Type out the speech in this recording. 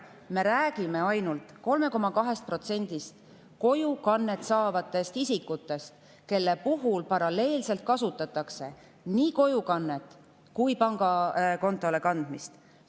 Me räägime ainult 3,2%‑st kojukannet isikutest, kelle puhul paralleelselt kasutatakse nii kojukannet kui ka pangakontole kandmist.